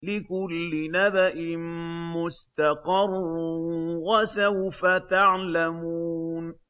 لِّكُلِّ نَبَإٍ مُّسْتَقَرٌّ ۚ وَسَوْفَ تَعْلَمُونَ